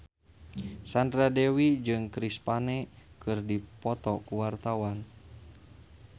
Sandra Dewi jeung Chris Pane keur dipoto ku wartawan